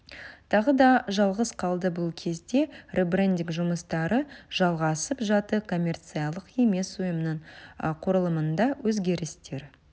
тағы да жалғыз қалды бұл кезде ребрендинг жұмыстары жалғасып жатты коммерциялық емес ұйымның құрылымында өзгерістер